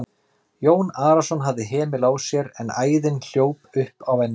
Jón Arason hafði hemil á sér en æðin hljóp upp á enninu.